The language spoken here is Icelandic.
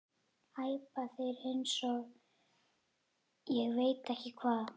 æpa þeir eins og ég veit ekki hvað.